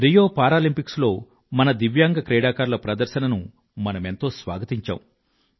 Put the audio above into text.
Rio Paralympics లో మన దివ్యాంగ క్రీడాకారుల ప్రదర్శనను మనమెంతో స్వాగతించాం